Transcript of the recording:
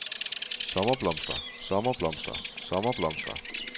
sommerblomster sommerblomster sommerblomster